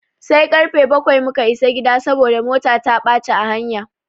Sai karfe bakwai muka isa gida saboda mota ta ɓaci a hanya.